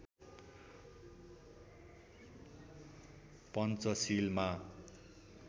पञ्चशीलमा